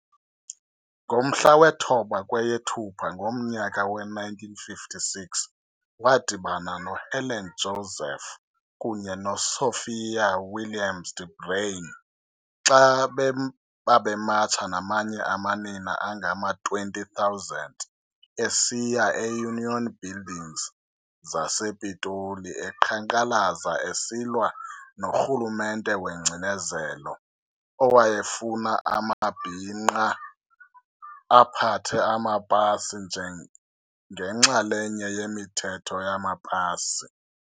Ngomhla we-9 kweyeThupha ngomnyaka we-1956, wadibana noHelen Joseph kunye noSophia Williams-De Bruyn xa babematsha namanye amanina angama-20 000 esiya kwii-Union Buildings zasePitoli, eqhankqalaza esilwa norhulumente wengcinezelo, owayefuna amabhinqa aphathe amapasi njengenxalenye yemithetho yamapasi.